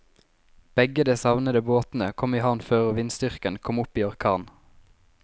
Begge de savnede båtene kom i havn før vindstyrken kom opp i orkan.